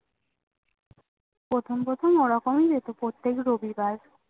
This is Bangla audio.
প্রথম পরপথম ওরকমই যেত প্রত্যেক রবিবার